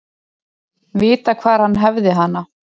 Vita hvar hann hefði hana.